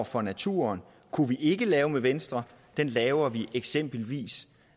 for naturen kunne vi ikke lave med venstre det laver vi eksempelvis